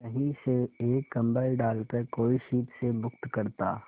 कहीं से एक कंबल डालकर कोई शीत से मुक्त करता